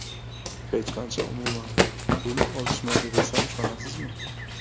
Hech qancha, umuman, pul olishmaydi, desam ishonasizmi?